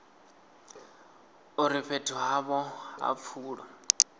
uri fhethu havho ha pfulo